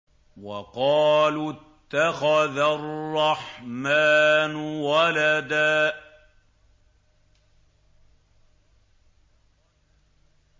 وَقَالُوا اتَّخَذَ الرَّحْمَٰنُ وَلَدًا